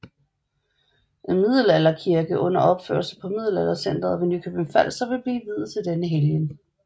En middelalderkirke under opførelse på Middelaldercentret ved Nykøbing Falster vil blive viet til denne helgen